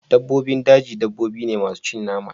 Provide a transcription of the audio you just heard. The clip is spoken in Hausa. dabbobin daji dabbobi ne masu cin nama